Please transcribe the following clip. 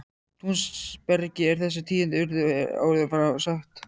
Túnsbergi er þessi tíðindi urðu er áður var frá sagt.